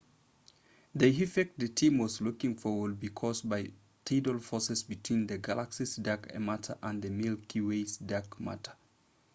the effect the team was looking for would be caused by tidal forces between the galaxy's dark matter and the milky way's dark matter